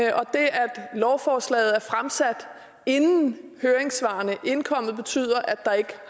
lovforslaget er fremsat inden høringssvarene indkom betyder at der ikke